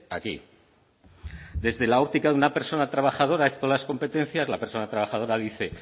aquí desde la óptica de una persona trabajadora esto de las competencias la persona trabajadora dice